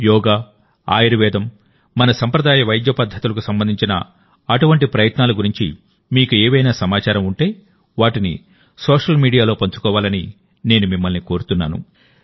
యోగా ఆయుర్వేదం మన సంప్రదాయ వైద్య పద్ధతులకు సంబంధించిన అటువంటి ప్రయత్నాల గురించి మీకు ఏవైనా సమాచారం ఉంటేవాటిని సోషల్ మీడియాలో పంచుకోవాలని నేను మిమ్మల్ని కోరుతున్నాను